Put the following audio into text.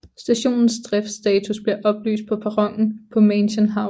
Stationens driftstatus bliver oplyst på perronen på Mansion House